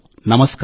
నమస్కారం